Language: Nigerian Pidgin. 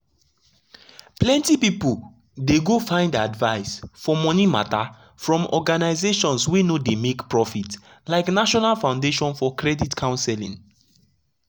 plenty pipu dey go find advice for money matter from organizations wey no dey make profit like national foundation for credit counseling.